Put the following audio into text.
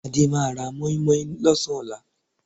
Adé máa ra mọ́ímọ́í lọ́sàn-án ọ̀la